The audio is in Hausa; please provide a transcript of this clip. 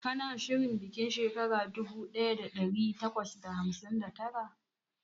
Kana shirin bikin shekara dubu daya da dari takwas da hamsin da tara?